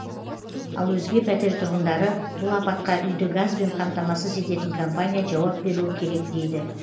ал өзге пәтер тұрғындары бұл апатқа үйді газбен қамтамасыз ететін компания жауап беруі керек дейді